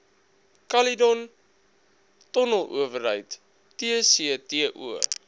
caledon tonnelowerheid tcto